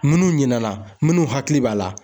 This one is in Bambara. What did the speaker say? Minnu ɲinɛna , munnu hakili b'a la.